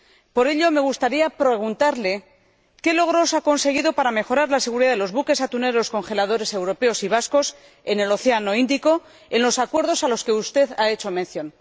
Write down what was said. Por ello me gustaría preguntarle, ¿qué logros ha conseguido para mejorar la seguridad de los buques atuneros congeladores europeos y vascos en el Océano Índico en los acuerdos a los que usted ha hecho mención?